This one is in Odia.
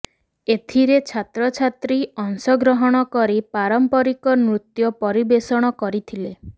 ଏଥିରେ ଛାତ୍ରଛାତ୍ରୀ ଅଂଶଗ୍ରହଣ କରି ପାରମ୍ପରିକ ନୃତ୍ୟ ପରିବେଷଣ କରିଥିଲେ